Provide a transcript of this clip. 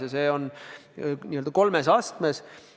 Ja see on n-ö kolmes astmes.